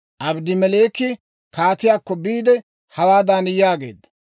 Abedmeleeki kaatiyaakko biide, hawaadan yaageedda;